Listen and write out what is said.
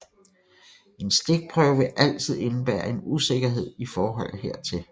En stikprøve vil altid indebære en usikkerhed i forhold hertil